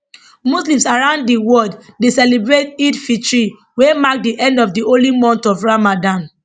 muslims around di world dey celebrate eidelfitr wey mark di end of di holy month of ramdan